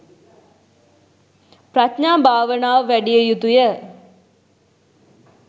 ප්‍රඥා භාවනාව වැඩිය යුතුය.